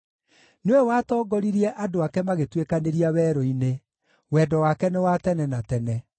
nĩwe watongoririe andũ ake magĩtuĩkanĩria werũ-inĩ, Wendo wake nĩ wa tene na tene.